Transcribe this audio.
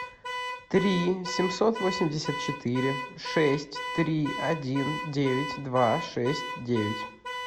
три семьсот восемьдесят четыре шесть три один девять два шесть девять